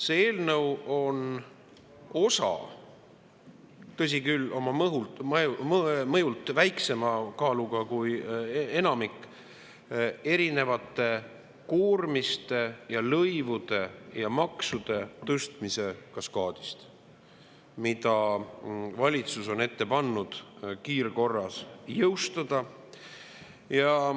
See eelnõu on osa – tõsi küll, oma mõjult väiksema kaaluga kui enamik – erinevate koormiste ja lõivude ja maksude tõstmise kaskaadist, mida valitsus on ette pannud kiirkorras jõustada.